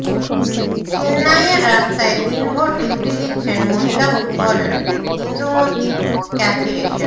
চেন্নাইয়ের রাস্তায় দিনভর ডিউটি দিচ্ছেন মহিলা ফুটবলার ইন্দুমতি কাথিরেশন